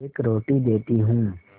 एक रोटी देती हूँ